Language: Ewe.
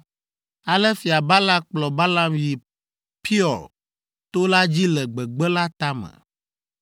Ale Fia Balak kplɔ Balaam yi Peor to la dzi le gbegbe la tame.